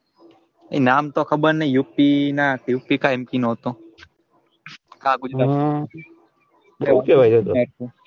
એ નામ તો ખબર નાઈ યુક્તિ ના નો હતો હા હું જબરૂ કેવાય.